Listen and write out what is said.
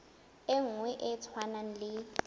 e nngwe e tshwanang le